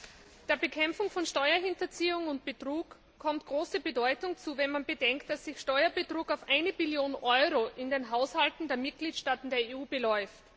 Herr Präsident! Der Bekämpfung von Steuerhinterziehung und Betrug kommt große Bedeutung zu, wenn man bedenkt, dass sich Steuerbetrug auf 1 Billion Euro in den Haushalten der Mitgliedstaaten der EU beläuft.